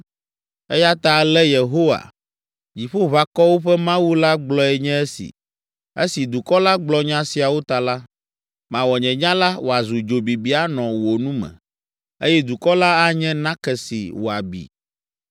Eya ta ale Yehowa, Dziƒoʋakɔwo ƒe Mawu la gblɔe nye esi: “Esi dukɔ la gblɔ nya siawo ta la, mawɔ nye nya la wòazu dzo bibi anɔ wò nu me eye dukɔ la anye nake si wòabi.”